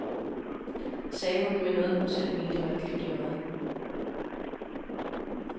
Sagde hun, med noget, hun selv mente var et glimt i øjet.